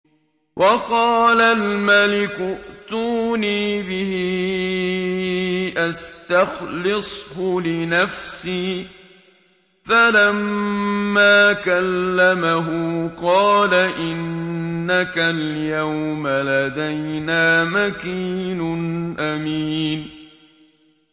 وَقَالَ الْمَلِكُ ائْتُونِي بِهِ أَسْتَخْلِصْهُ لِنَفْسِي ۖ فَلَمَّا كَلَّمَهُ قَالَ إِنَّكَ الْيَوْمَ لَدَيْنَا مَكِينٌ أَمِينٌ